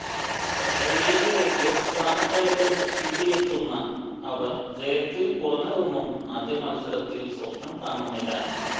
I ലീഗിലേക്ക് സ്ഥാനക്കയറ്റം കിട്ടിയെത്തുന്ന അവർ ജയത്തിൽ കുറഞ്ഞതൊന്നും ആദ്യ മത്സരത്തിൽ സ്വപ്നം കാണുന്നില്ല